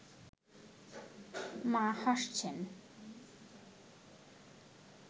মা হাসছেন